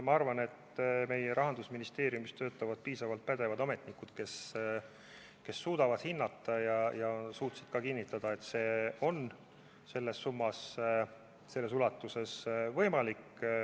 Ma arvan, et meie Rahandusministeeriumis töötavad piisavalt pädevad ametnikud, kes suudavad olukorda hinnata ja kes suutsid ka kinnitada, et selles summas, selles ulatuses on finantseerimine võimalik.